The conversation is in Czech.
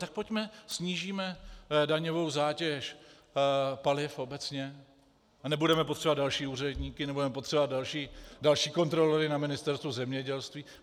Tak pojďme, snížíme daňovou zátěž paliv obecně a nebudeme potřebovat další úředníky, nebudeme potřebovat další kontrolory na Ministerstvu zemědělství.